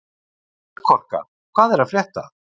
Melkorka, hvað er að frétta?